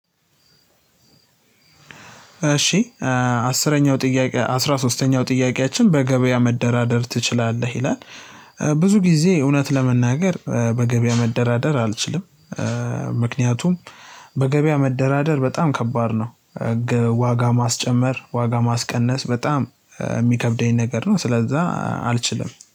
እሺ አስረኛው ጥያቄ አስራ ሶስተኛው ጥያቄያችን በገበያ መደራደር ትችላለህ? ይላል ብዙ ጊዜ እውነት ለመናገር በገበያ መደራደር አልችልም ምክንያቱም በገበያ መደራደር በጣም ከባድ ነው። ዋጋ ማስጨመር ዋጋ ማስቀነስ በጣም የሚከብደኝ ነገር ነው። ስለዛ አልችልም።